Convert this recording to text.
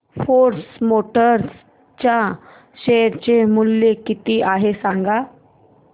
force Motors च्या share चे मूल्य किती आहे सांगा